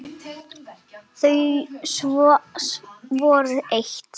Þau voru eitt.